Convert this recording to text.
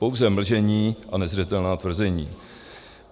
Pouze mlžení a nezřetelná tvrzení.